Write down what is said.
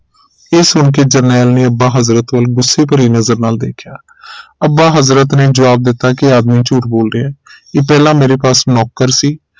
ਇਹ ਸੁਣਕੇ ਜਰਨੈਲ ਨੇ ਅੱਬਾ ਹਜ਼ਰਤ ਵਲ ਗੁੱਸੇ ਭਰੀ ਨਜ਼ਰ ਨਾਲ ਦੇਖਿਆ ਅੱਬਾ ਹਜ਼ਰਤ ਨੇ ਜਵਾਬ ਦਿੱਤਾ ਇਹ ਆਦਮੀ ਝੂਠ ਬੋਲ ਰਿਹਾ ਇਹ ਪਹਿਲਾ ਮੇਰੇ ਪਾਸ ਨੌਕਰ ਸੀ